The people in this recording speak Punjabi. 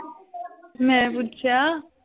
ਮੈਂ ਪੁੱਛਿਆ